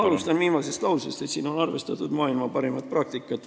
Alustan viimasest lausest, et on arvestatud maailma parimat praktikat.